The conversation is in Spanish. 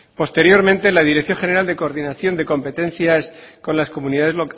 posteriormente la dirección general de coordinación de competencias con las comunidades